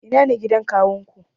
Ina ne gidan kawunku?